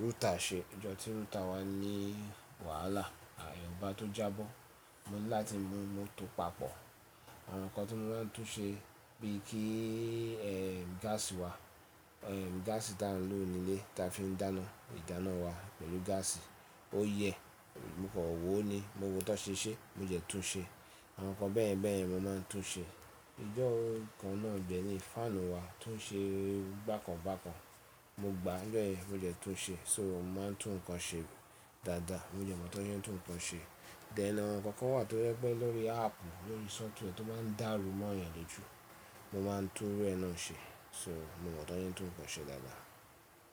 rútà ṣe. Ọjọ́ tí rútà wa ní wàhálà, iwon ba tó jábọ́, mo ní láti mú móòtò papọ̀. Àwọn nǹkan tí mo máa ń tún ṣe bíi kí ẹ́, gáàsì wà, ẹ́, gáàsì tí a ń lò nílé tí a fi ń dáná, ìdáná wa pẹ̀lú gáàsì ó yẹ, mo kọ̀ wò ó ni mo wò tọ̀ ṣe ṣe, mo dẹ tún un ṣe. Àwọn nǹkan bẹ́yẹ̀n bẹ́yẹ̀n ni mo máa ń tún ṣe. Ọjọ́ kan náà dẹ́ ní fáànù wa tún ṣe bákan bákan, mo gbà á jọ́ yẹ̀n mo dẹ tún un ṣe. So mo máa ń tún nǹkan ṣe dáadáa. Mo dẹ mọ̀ tó ń ṣe tún nǹkan ṣe. Then àwọn nǹkan kan wà tó jẹ́ pé lórí áàpù, lórí software tí o máa ń dàrú mọ́ ìyàn lojú, mo máa tún iru ẹ́ náà ṣe. So mo mọ̀ tó ń ṣe tún nǹkan ṣe dáadáa.